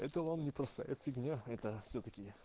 это вам не простая фигян это это всё таки